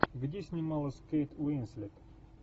где снималась кейт уинслет